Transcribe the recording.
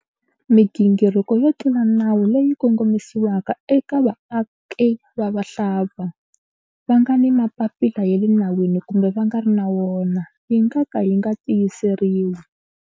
Migingiriko yo tlula nawu leyi kongomisiwaka eka vaaki va vahlampfa, va nga ni mapapila ya le nawini kumbe va nga ri na wona, yi nga ka yi nga tiyiseriwi.